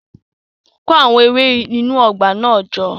Kó àwọn ewé inú ọgbà náà jọ